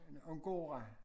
Om gårde